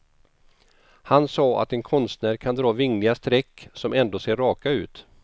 Han sa att en konstnär kan dra vingliga streck som ändå ser raka ut.